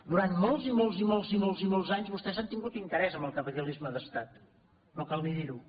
durant molts i molts i molts i molts i molts anys vostès han tingut interès en el capitalisme d’estat no cal ni dir·ho